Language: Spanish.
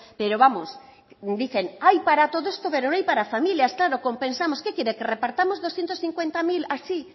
pero vamos dicen hay para todo esto pero no hay para familias claro compensamos qué quiere que repartamos doscientos cincuenta mil así